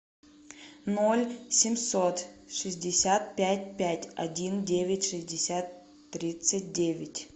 ноль семьсот шестьдесят пять пять один девять шестьдесят тридцать девять